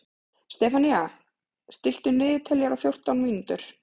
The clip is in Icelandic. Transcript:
Stefanía, stilltu niðurteljara á fjórtán mínútur.